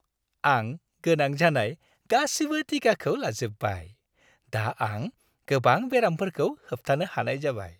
आं गोनां जानाय गासिबो टिकाखौ लाजोबबाय। दा आं गोबां बेरामफोरखौ होबथानो हानाय जाबाय।